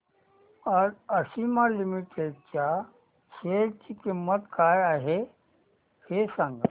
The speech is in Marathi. आज आशिमा लिमिटेड च्या शेअर ची किंमत काय आहे हे सांगा